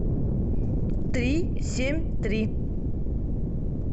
три семь три